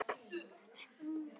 Lifir einn en annar deyr?